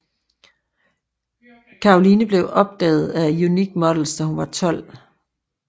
Caroline blev opdaget af Unique Models da hun var 12